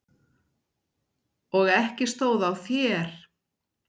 Og ekki stóð á þér!